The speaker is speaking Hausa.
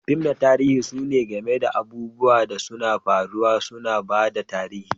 Fim na tarihi suna game da abubuwan da sun faru, suna ba da tarihi.